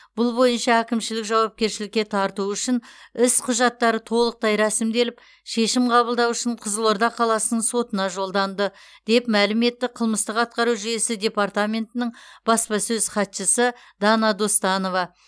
бұл бойынша әкімшілік жауапкершілікке тарту үшін іс құжаттары толықтай рәсімделіп шешім қабылдау үшін қызылорда қаласының сотына жолданды деп мәлім етті қылмыстық атқару жүйесі департаментінің баспасөз хатшысы дана достанова